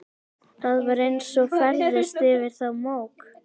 Það var eins og færðist yfir þá mók.